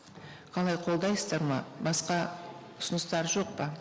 қалай қолдайсыздар ма басқа ұсыныстар жоқ па